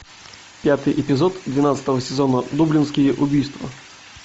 пятый эпизод двенадцатого сезона дублинские убийства